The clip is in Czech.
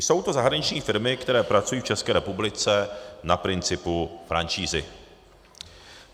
Jsou to zahraniční firmy, které pracují v České republice na principu franšízy.